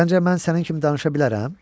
Səncə mən sənin kimi danışa bilərəm?